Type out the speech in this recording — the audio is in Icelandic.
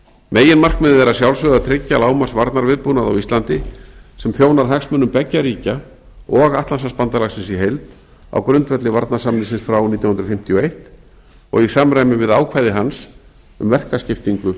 meginmarkmiðið er að sjálfsögðu að tryggja lágmarksvarnarviðbúnað á íslandi sem þjónar hagsmunum beggja ríkja og atlantshafsbandalagsins í heild á grundvelli varnarsamningsins frá nítján hundruð fimmtíu og eins og í samræmi við ákvæði hans um verkaskiptingu